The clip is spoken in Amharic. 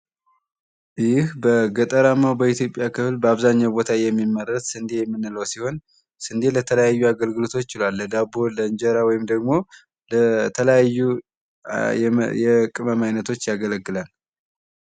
ይህ በኢትዮጵያ በገጠራማው ክፍል በአብዛኛው ቦታ የሚመረት ስንደ የምንለው ሲሆን ስንደ ለተለያዩ አገልግሎቶች ይውላል። ለዳቦ ለእንጀራ ወይም ደግሞ ለተለያዩ የቅመም አይነቶች ያገለግላል።